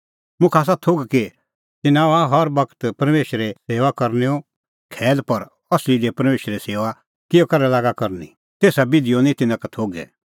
मुखा आसा थोघ कि तिन्नां हआ हर बगत परमेशरे सेऊआ करनैओ खैल पर असली दी परमेशरे सेऊआ किहअ करै लागा करनी तेसा बिधीओ निं तिन्नां का थोघै